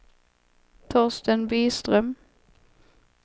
Torsten Byström